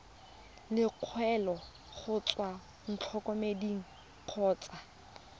lekwalo go tswa ntlokemeding kgotsa